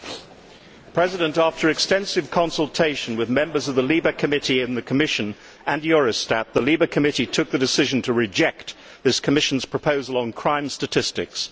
Mr President, after extensive consultation with members of the LIBE committee in the Commission, and Eurostat, the LIBE committee took the decision to reject this Commission proposal on crime statistics.